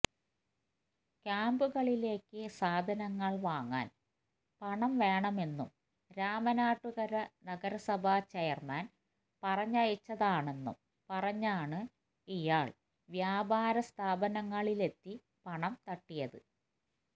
ക്യാംപുകളിലേക്ക് സാധനങ്ങള് വാങ്ങാന് പണം വേണമെന്നും രാമനാട്ടുകര നഗരസഭാ ചെയര്മാന് പറഞ്ഞയച്ചതാണെന്നും പറഞ്ഞാണ് ഇയാള് വ്യാപാര സ്ഥാപനങ്ങളിലെത്തി പണം തട്ടിയത്